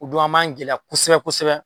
O don an ma gɛlɛya kosɛbɛ kosɛbɛ.